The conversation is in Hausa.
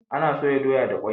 Ana soya doya da kwai.